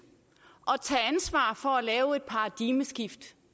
og tage ansvar for at lave et paradigmeskift